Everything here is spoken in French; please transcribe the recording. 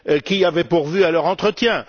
Qui avait pourvu à leur entretien?